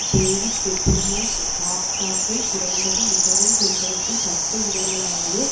David Petraeus பாக்தாத்தில் குறைந்தது மிகவும் கொந்தளிக்கும் பத்து இடங்களாவது